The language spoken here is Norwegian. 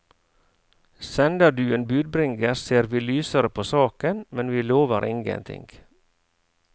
Sender du en budbringer, ser vi lysere på saken, men vi lover ingenting.